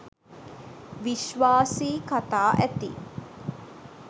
විශ්වාසී කතා ඇති